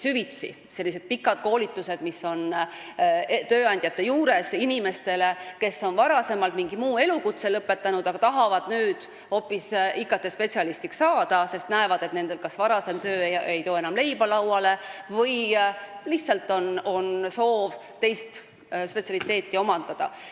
Koolitatakse süvitsi, need on sellised pikad koolitused tööandjate juures inimestele, kes on varem mingi muu elukutse omandanud, aga tahavad nüüd hoopis IT-spetsialistiks saada, sest nende varasem töö ei too enam leiba lauale või neil on lihtsalt soov teist spetsialiteeti omandada.